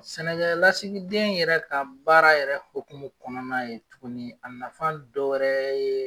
Sɛnɛkɛ lasigiden yɛrɛ ka baara yɛrɛ hokumu kɔnɔna ye tuguni a nafan dɔwɛrɛ ye